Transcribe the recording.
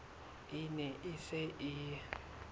e ne e se e